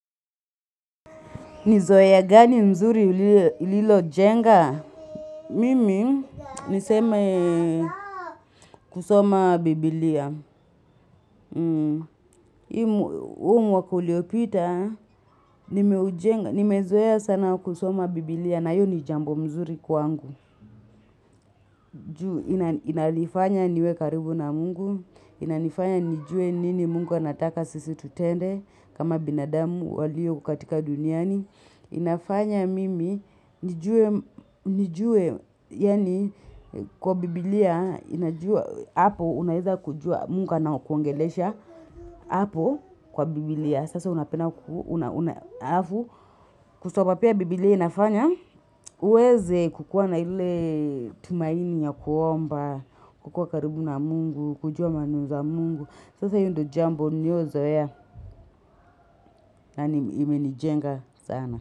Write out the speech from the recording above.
Ni zoea gani nzuri ulilo jenga? Mimi niseme kusoma biblia. Hii huu mwaka uliopita, nimezoea sana kusoma biblia na hiyo ni jambo mzuri kwangu. Inalifanya niwe karibu na mungu, inalifanya nijue nini mungu anataka sisi tutende kama binadamu walio katika duniani. Inafanya mimi nijue kwa Biblia inajua munga anakuongelesha kwa Biblia sasa unapenda kusomq pia Biblia inafanya uweze kukuwa na ile tumaini ya kuomba kukuwa karibu na mungu kujua maneno za mungu sasa hiyo ndo jambo niliyozoea na imenijenga sana.